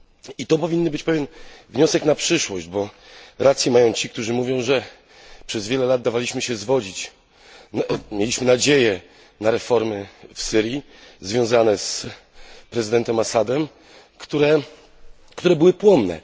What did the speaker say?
I to powinien być pewien wniosek na przyszłość, bo rację mają ci, którzy mówią, że przez wiele lat dawaliśmy się zwodzić, mieliśmy nadzieję na reformy w Syrii związane z prezydentem Assadem, które były płonne.